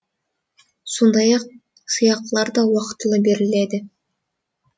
сондай ақ сыйақылар да уақытылы беріледі